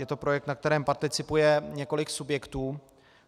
Je to projekt, na kterém participuje několik subjektů.